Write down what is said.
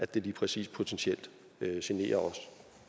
det lige præcis potentielt kan genere os